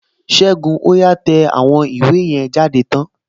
Ségun, ó yá tẹ àwọn ìwé yẹn jáde tán!